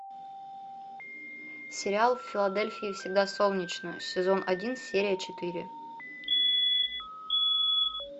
сериал в филадельфии всегда солнечно сезон один серия четыре